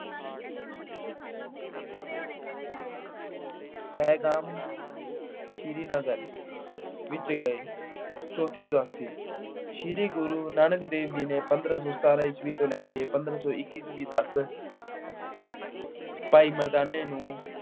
ਪਹਿਗਾਮ, Srinagar ਵਿੱਚ ਗਏ। ਚੌਥੀ ਉਦਾਸੀ -ਸ਼੍ਰੀ ਗੁਰੂ ਨਾਨਕ ਦੇਵ ਜੀ ਨੇ ਪੰਦਰਾ ਸੌ ਸਤਾਰਾਂ ਈਸਵੀ ਤੋਂ ਲੈ ਕੇ ਪੰਦਰਾਂ ਸੌ ਇੱਕੀ ਈਸਵੀ ਤੱਕ ਭਾਈ ਮਰਦਾਨੇ ਨੂੰ